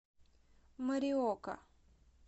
мориока